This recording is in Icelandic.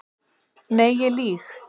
Nei ég lýg.